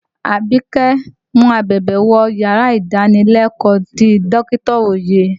Àbíkẹ́ mu abẹ̀bẹ̀ wọ yàrá ìdánilẹ́kọ̀ọ́ ti dọkita Oyè.